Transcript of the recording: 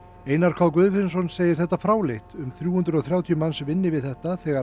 Einar k Guðfinnsson segir þetta fráleitt um þrjú hundruð og þrjátíu manns vinni við þetta þegar